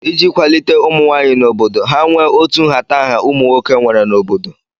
Iji kwalite ụmụnwaanyị n'obodo, ha nwee otu nhatanha ụmụnwoke nwere n'obodo.